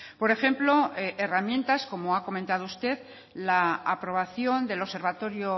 por ejemplo herramientas como ha comentado usted la aprobación del observatorio